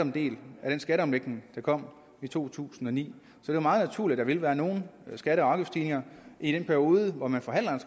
en del af den skatteomlægning der kom i to tusind og ni det er meget naturligt at der vil være nogle skatte og afgiftsstigninger i den periode hvor man forhandler